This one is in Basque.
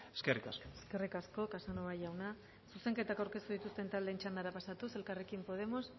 eskerrik asko eskerrik asko casanova jauna zuzenketak aurkeztu dituzten taldeen txandara pasatuz elkarrekin podemos